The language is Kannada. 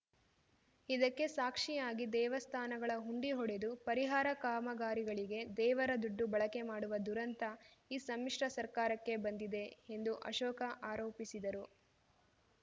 ಇದಕ್ಕೆ ಸಾಕ್ಷಿಯಾಗಿ ದೇವಸ್ಥಾನಗಳ ಹುಂಡಿ ಒಡೆದು ಪರಿಹಾರ ಕಾಮಗಾರಿಗಳಿಗೆ ದೇವರ ದುಡ್ಡು ಬಳಕೆ ಮಾಡುವ ದುರಂತ ಈ ಸಮ್ಮಿಶ್ರ ಸರ್ಕಾರಕ್ಕೆ ಬಂದಿದೆ ಎಂದು ಅಶೋಕ ಆರೋಪಿಸಿದರು